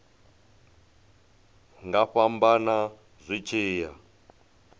nga fhambana zwi tshi ya